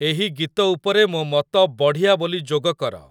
ଏହି ଗୀତ ଉପରେ ମୋ ମତ 'ବଢ଼ିଆ' ବୋଲି ଯୋଗ କର।